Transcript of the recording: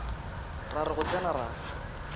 ra re go tsena ra